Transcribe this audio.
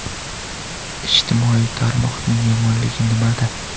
Ijtimoiy tarmoqning yomonligi nimada?